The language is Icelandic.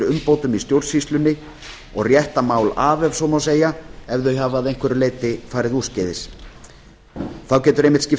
umbótum í stjórnsýslunni og rétta mál af ef svo má segja ef þau hafa að einhverju leyti farið úrskeiðis þá getur einmitt skipt máli